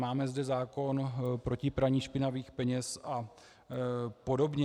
Máme zde zákon proti praní špinavých peněz a podobně.